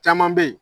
Caman bɛ yen